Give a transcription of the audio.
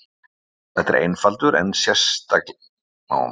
Þetta er einfaldur en einstaklega góður eftirréttur.